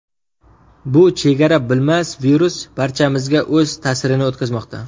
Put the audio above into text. Bu chegara bilmas virus barchamizga o‘z ta’sirini o‘tkazmoqda.